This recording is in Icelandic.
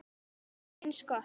Það er eins gott.